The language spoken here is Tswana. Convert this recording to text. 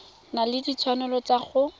na le ditshwanelo tsa go